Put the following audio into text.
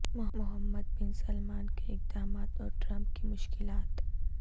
محمد bin Salman کے اقدامات اور ٹرمپ کی مشکلات